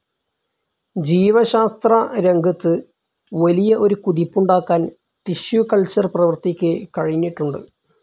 ജീവശാസ്ത്രരംഗത്ത് വലിയ ഒരു കുതിപ്പുണ്ടാക്കാൻ ടിഷ്യൂ കൾച്ചർ പ്രവർത്തിക്ക് കഴിഞ്ഞിട്ടുണ്ട്.